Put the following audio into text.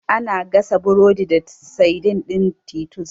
Ana gasa burodi da saidin ɗin titus.